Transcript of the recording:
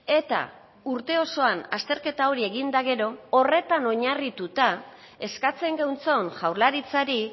eta urte osoan azterketa hori egin eta gero horretan oinarrituta eskatzen geuntson jaurlaritzari